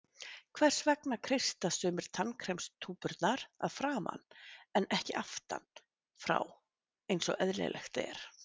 Hvers vegna kreista sumir tannkremstúpurnar að framan en ekki aftan frá eins og eðlilegt er?